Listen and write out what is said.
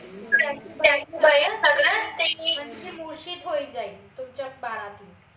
सगळ म्हनजे तुमच्या बाळाची